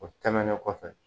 O tɛmɛnnen kɔfɛ